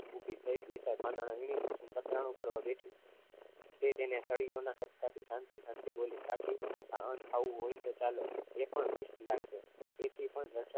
ઊભી થઈ બે ત્રણ પાંદડા વીણી કુસુમ પતરાનું કરવા બેઠી તે તેને સળીયોના પત્તાથી શાંતિ શાંતિ થી બોલી કાકી ખાવાનું હોય તો ચાલો એ પણ વીસ લાખે તેથી પણ બચત